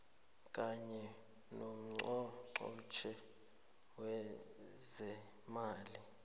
kanye nongqongqotjhe wezeemali